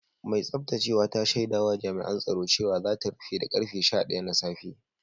Mai tsaftacewa ta shaida wa Jami’an tsaro cewa za ta rufe da karfe sha daya na safe